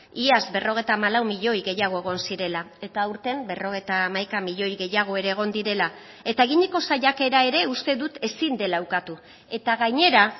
iaz berrogeita hamalau milioi gehiago egon zirela eta aurten berrogeita hamaika milioi gehiago ere egon direla eta eginiko saiakera ere uste dut ezin dela ukatu eta gainera